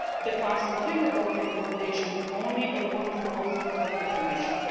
The Council can adopt recommendations only upon proposals from the Commission.